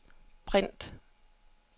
print